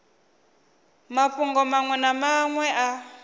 mafhungo manwe na manwe a